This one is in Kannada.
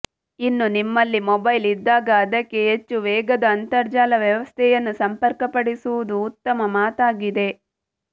ಇನ್ನು ನಿಮ್ಮಲ್ಲಿ ಮೊಬೈಲ್ ಇದ್ದಾಗ ಅದಕ್ಕೆ ಹೆಚ್ಚು ವೇಗದ ಅಂತರ್ಜಾಲ ವ್ಯವಸ್ಥೆಯನ್ನು ಸಂಪರ್ಕಪಡಿಸುವುದು ಉತ್ತಮ ಮಾತಾಗಿದೆ